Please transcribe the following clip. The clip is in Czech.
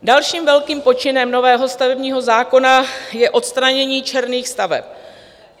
Dalším velkým počinem nového stavebního zákona je odstranění černých staveb.